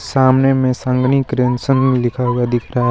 सामने में संगिनी क्रिंसन लिखा हुआ दिख रहा हैं.